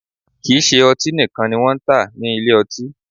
Kì í ṣe ọtí nìkan ni wọ́n ń tà ní ilé ọtí